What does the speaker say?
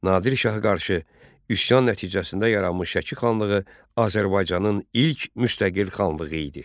Nadir Şaha qarşı üsyan nəticəsində yaranmış Şəki xanlığı Azərbaycanın ilk müstəqil xanlığı idi.